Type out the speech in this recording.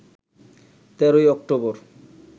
১৩ ই অক্টোবর